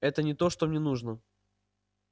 это не то что мне нужно